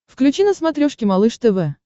включи на смотрешке малыш тв